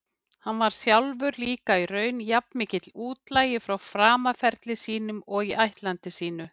Hann sjálfur var líka í raun jafnmikill útlagi frá framaferli sínum og ættlandi sínu.